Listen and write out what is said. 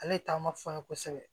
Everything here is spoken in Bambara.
Ale ye taama fɔ an ye kosɛbɛ